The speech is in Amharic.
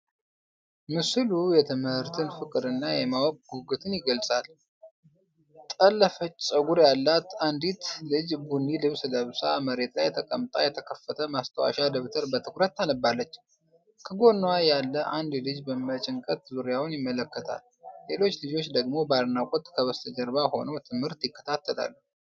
ምስሉ የትምህርትን ፍቅርና የማወቅ ጉጉትን ይገልጻል። ጠለፈች ፀጉር ያላት አንዲት ልጅ ቡኒ ልብስ ለብሳ መሬት ላይ ተቀምጣ የተከፈተ ማስታወሻ ደብተር በትኩረት ታነባለች። ከጎኗ ያለ አንድ ልጅ በጭንቀት ዙሪያውን ይመለከታል፤ ሌሎች ልጆች ደግሞ በአድናቆት ከበስተጀርባ ሆነው ትምህርት ይከታተላሉ።